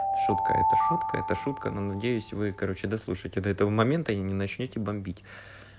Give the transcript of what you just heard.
шутка это шутка это шутка но надеюсь вы короче дослушаете до этого момента и не начнёте бомбить